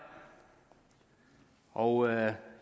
og jeg